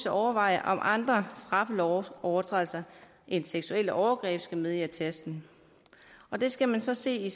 overveje om andre straffelovsovertrædelser end seksuelle overgreb skal med i attesten det skal man så se